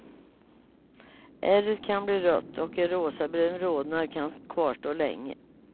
Ärret kan bli rött och en rosabrun rodnad kan kvarstå länge.